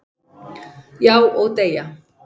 """Já, og deyja"""